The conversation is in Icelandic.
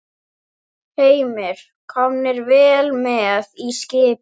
Heimir: Komnir vel með í skipið?